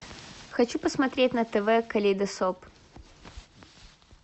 хочу посмотреть на тв калейдоскоп